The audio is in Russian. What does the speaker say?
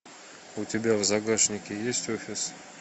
у тебя в загашнике есть офис